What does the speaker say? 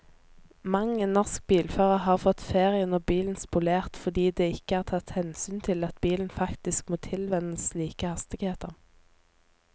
Mang en norsk bilfører har fått ferien og bilen spolert fordi det ikke er tatt hensyn til at bilen faktisk må tilvennes slike hastigheter.